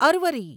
અરવરી